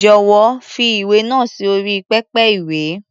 Jọ̀wọ́, fi ìwé náà sí orí pẹpẹ-ìwé.